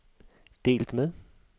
delt med